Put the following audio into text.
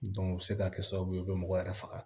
o bɛ se ka kɛ sababu ye u bɛ mɔgɔ yɛrɛ faga